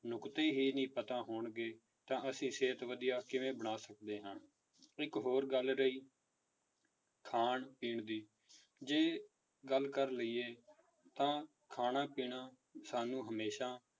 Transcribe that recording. ਨੁੱਕਤੇ ਹੀ ਨਹੀਂ ਪਤਾ ਹੋਣਗੇ ਤਾਂ ਅਸੀਂ ਸਿਹਤ ਵਧੀਆ ਕਿਵੇਂ ਬਣਾ ਸਕਦੇ ਹਾਂ ਇੱਕ ਹੋਰ ਗੱਲ ਰਹੀ ਖਾਣ ਪੀਣ ਦੀ, ਜੇ ਗੱਲ ਕਰ ਲਈਏ ਤਾਂ ਖਾਣਾ ਪੀਣਾ ਸਾਨੂੰ ਹਮੇਸ਼ਾ